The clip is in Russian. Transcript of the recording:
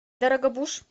дорогобуж